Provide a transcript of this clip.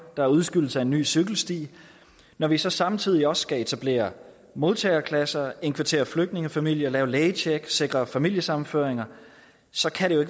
der er udskydelse af en ny cykelsti når vi så samtidig også skal etablere modtageklasser indkvartere flygtningefamilier lave lægetjek og sikre familiesammenføringer så kan det jo